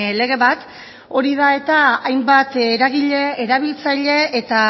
lege bat hori da eta hainbat eragile erabiltzaile eta